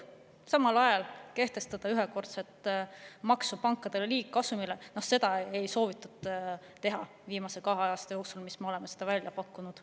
Samal ajal ühekordset maksu pankade liigkasumi maksustamiseks ei ole soovitud teha selle viimase kahe aasta jooksul, mil me oleme seda välja pakkunud.